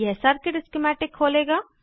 यह circuit schematic खोलेगा